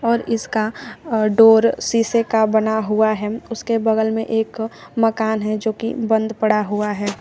और इसका अ डोर शीशे का बना हुआ है उसके बगल में एक मकान है जो कि बंद पड़ा हुआ है।